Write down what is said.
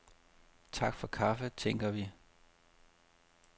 Tak for kaffe, tænker vi.